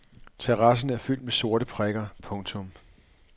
Terrassen er fyldt med sorte prikker. punktum